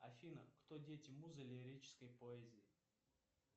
афина кто дети музы лирической поэзии